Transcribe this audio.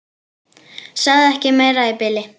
Sagði ekki meira í bili.